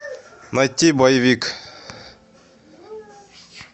найти боевик